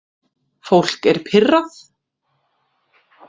Fólk er pirrað